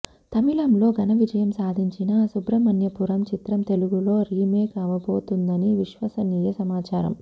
తమిళంలో ఘన విజయం సాధించిన సుబ్రమణ్యపురం చిత్రం తెలుగులో రీమేక్ అవబోతోందని విశ్వసనీయ సమాచారం